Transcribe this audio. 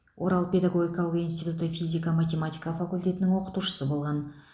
орал педагогикалық институты физика математика факультетінің оқытушысы болған